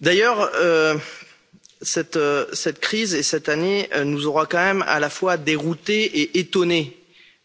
D'ailleurs, cette crise et cette année nous auront quand même à la fois déroutés et étonnés,